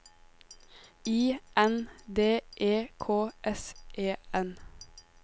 I N D E K S E N